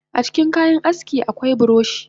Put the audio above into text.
Acikin kayan aski akwai buroshi